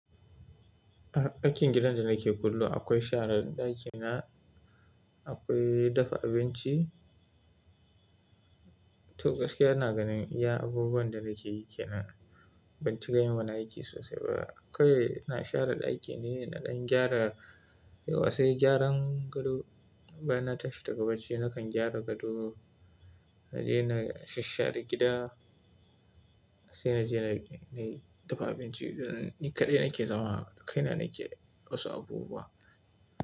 Aikin gidan da nake kullum akwai share daki na, akwai dafa abinci. To gaskiya na ganin iya abubuwan da nake yi ke nan. Ban ci ganin bana aiki sosai ba. Akwai na share daki ne, naɗin gyara, yawance gyaran gado. Bana tafi daga bacci nakan gyara gado, na je na sha share gida sai na je na yi dafa abinci. Ni kaɗai nake zama, kai na nake wasu abubuwa.